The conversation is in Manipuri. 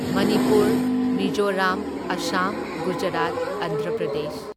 ꯃꯅꯤꯄꯨꯔ, ꯃꯤꯖꯣꯔꯥꯝ ꯑꯥꯁꯥꯝ ꯒꯨꯖꯔꯥꯠ ꯑꯟꯙ꯭ꯔ ꯄ꯭ꯔꯗꯦꯁ꯫